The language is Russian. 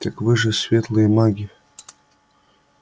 так вы же светлые маги